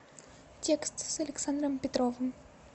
текст с александром петровым